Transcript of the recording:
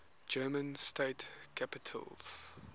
german state capitals